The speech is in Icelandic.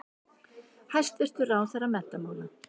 Hæstvirtur ráðherra menntamála.